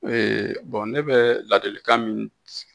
ne bɛ ladilikan min